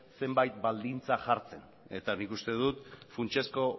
zenbait baldintza jartzen eta nik uste dut funtsezko